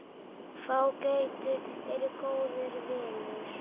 Fágætur er góður vinur.